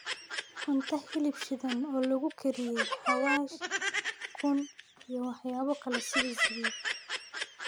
cunto hilib shiidan oo lagu kariyey xawaash, ukun, iyo waxyaabo kale sida sabiib.